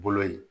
Bolo ye